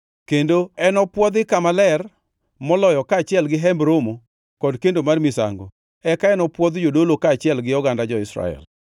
kendo enopwodhi Kama Ler Moloyo kaachiel gi Hemb Romo kod kendo mar misango, eka enopwodh jodolo kaachiel gi oganda jo-Israel.